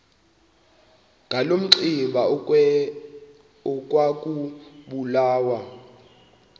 ngaloo mihla ekwakubulawa